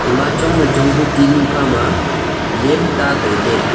ema chon wai chong ku tinu kha ma lem ta tailey.